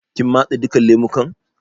Kin matse duka lemukan?